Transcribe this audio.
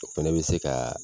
O fɛnɛ bɛ se ka